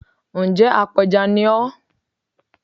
Ǹ jẹ́ apẹja ni ọ́